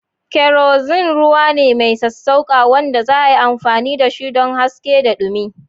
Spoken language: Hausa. Kerosene ruwa ne mai sassauƙa wanda za'a iya amfani dashi don haske da dumi.